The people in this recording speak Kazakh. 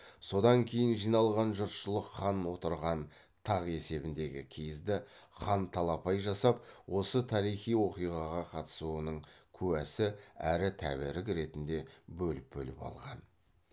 содан кейін жиналған жұртшылық хан отырған тақ есебіндегі киізді хан талапай жасап осы тарихи оқиғаға қатысуының куәсі әрі тәбәрік ретінде бөліп бөліп алған